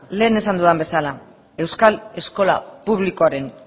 lehen esan dudan bezala euskal eskola publikoaren